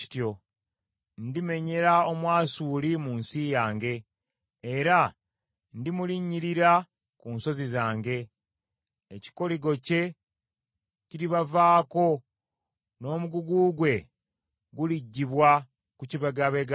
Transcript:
Ndimenyera Omwasuli mu nsi yange, era ndimulinnyirira ku nsozi zange. Ekikoligo kye kiribavaako, n’omugugu gwe guliggyibwa ku kibegabega kye.”